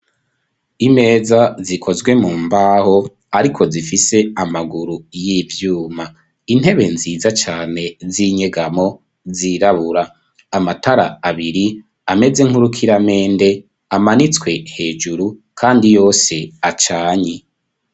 Imeza zikozwe mu mbaho ariko zifise amaguru y'ivyuma intebe nziza cane z'inyegamo zirabura amatara abiri ameze nkurukiramende amanitswe hejuru kandi yose acanye.